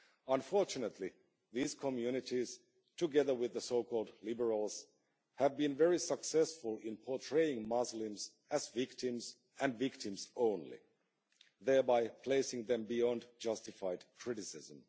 Unfortunately these communities, together with the so called liberals, have been very successful in portraying Muslims as victims and victims only, thereby placing them beyond justified criticism.